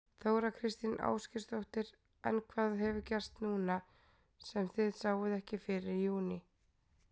Þóra Kristín Ásgeirsdóttir: En hvað hefur gerst núna sem þið sáuð ekki fyrir í júní?